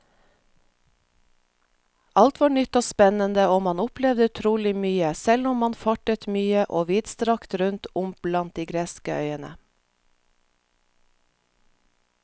Alt var nytt og spennende og man opplevde utrolig mye, selv om man fartet mye og vidstrakt rundt om blant de greske øyene.